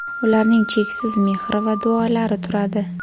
ularning cheksiz mehri va duolari turadi.